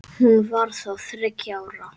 Hún var þá þriggja ára.